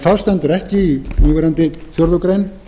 það stendur ekki í núverandi fjórðu grein